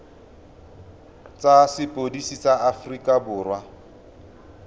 tsa sepodisi sa aforika borwa